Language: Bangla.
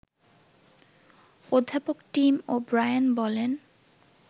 অধ্যাপক টিম ও ব্রায়েন বলেন